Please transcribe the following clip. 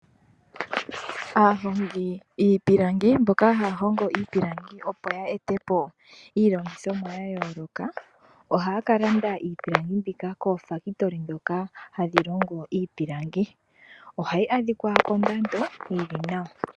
Aahongi yiipilangi mboka haahongo iipilangi opo ya etepo iilongithomwa yayooloka. Ohaakalanda iipilangi mbika koofakitoli dhoka hadhilongo iipilangi ohayi adhikwa kondando yili nawa.